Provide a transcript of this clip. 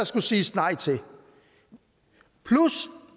skulle siges nej til plus